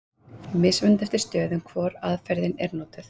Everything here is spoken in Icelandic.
Mismunandi er eftir stöðum hvor aðferðin er notuð.